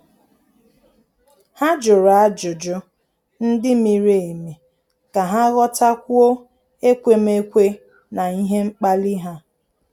Há jụ̀rụ́ ájụ́jụ́ ndị miri emi kà há ghọ́tákwúọ́ ekwemekwe na ihe mkpali ha.